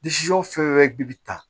fɛn wɛrɛ bi bi ta